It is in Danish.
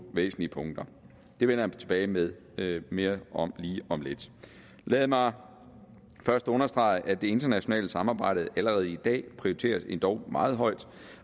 væsentlige punkter det vender jeg tilbage med mere om lige om lidt lad mig først understrege at det internationale samarbejde allerede i dag prioriteres endog meget højt